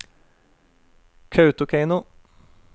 Kautokeino